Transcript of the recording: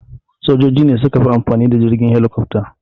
Sojoji ne suka fi amfani da jirgin helikofta.